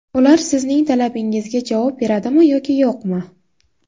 Ular sizning talabingizga javob beradimi yoki yo‘qmi?